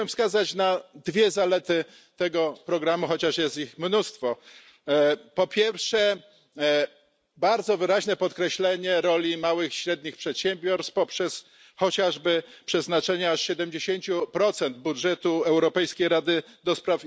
Chciałbym wskazać na dwie zalety tego programu, chociaż jest ich mnóstwo. Po pierwsze, bardzo wyraźne podkreślenie roli małych i średnich przedsiębiorstw poprzez, chociażby, przeznaczenie aż 70 budżetu Europejskiej Rady ds.